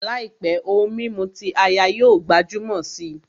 Làìpé, ohun mímu ti áyá yóò gbajúmọ̀ si